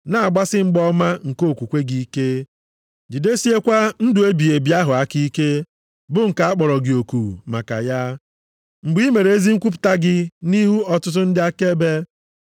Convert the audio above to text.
Na-agbasi mgba ọma nke okwukwe gị ike, jidesiekwa ndụ ebighị ebi ahụ aka ike bụ nke a kpọrọ gị oku maka ya mgbe i mere ezi nkwupụta gị nʼihu ọtụtụ ndị akaebe.